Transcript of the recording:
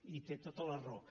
i té tota la raó